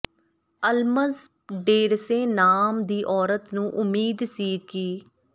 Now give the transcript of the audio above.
ਅਲਮਜ Derese ਨਾਮ ਦੀ ਔਰਤ ਨੂੰ ਉਮੀਦ ਸੀ ਕਿ